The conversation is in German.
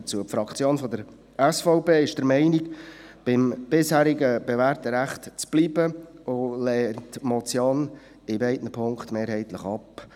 Die Fraktion der SVP ist der Meinung, es sei beim bisherigen bewährten Recht zu bleiben und lehnt die Motion in beiden Punkten mehrheitlich ab.